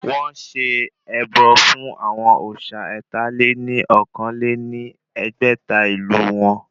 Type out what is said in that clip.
Wọ́n ṣe ẹbọ náà fún àwọn òsà ẹ̀ta-lé-ní-okòó lé ní ẹgbẹ́ta ìlú wọn